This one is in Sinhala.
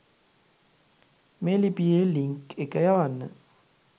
මේ ලිපියේ ලින්ක් එක යවන්න.